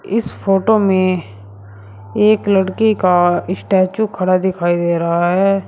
इस फोटो में एक लड़के का स्टैचू खड़ा दिखाई दे रहा है।